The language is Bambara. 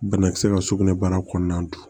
Banakisɛ ka sugunɛbara kɔnɔna don